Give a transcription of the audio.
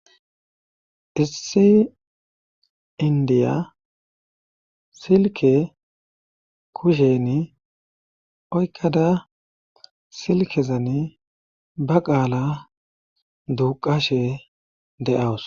Issi indiya silke kushen oykkada silkezan ba qaala duqashe de7aws.